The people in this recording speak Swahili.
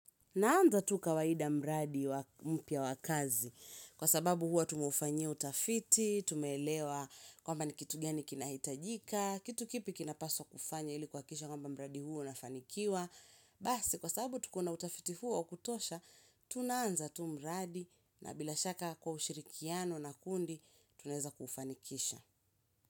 Naanza tu kawaida mradi wa mpya wakazi kwa sababu hua tumeufanyia utafiti, tumeelewa kwamba ni kitugani kinahitajika, kitu kipi kinapaswa kufanya ili kuhakikisha kwamba mradi huo unafanikiwa. Basi kwa sababu tukona utafiti huo wa kutosha, tunaanza tu mradi na bila shaka kwa ushirikiano na kundi tunaeza kufanikisha.